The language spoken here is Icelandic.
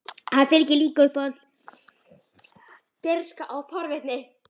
Henni fylgdi líka uppblásin dirfska og forvitni.